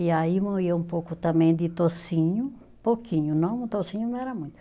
E aí moía um pouco também de toucinho, pouquinho, não, toucinho não era muito.